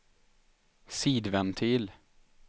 sidventil